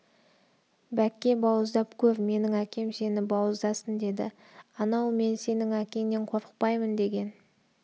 бәкке бауыздап көр менің әкем сені бауыздасын деді анау мен сенің әкеңнен қорықпаймын деген